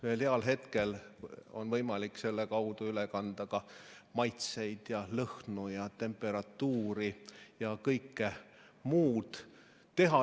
Ühel heal hetkel on võimalik selle kaudu üle kanda ka maitseid ja lõhnu ja temperatuuri ja kõike muud.